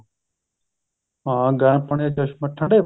ਹਾਂ ਗਰਮ ਪਾਣੀ ਠੰਡੇ ਪਾਣੀ